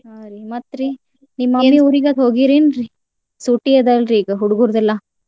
ಹ್ಮ್ ರಿ ಮತ್ತ್ ರಿ? ನಿಮ್ಮ ಹೋಗಿರ ಏನ್ರೀ ಸೂಟಿ ಅದವಲ್ರಿ ಈಗ ಹುಡ್ಗುರ್ದೆಲ್ಲಾ?